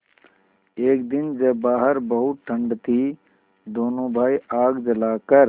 एक दिन जब बाहर बहुत ठंड थी दोनों भाई आग जलाकर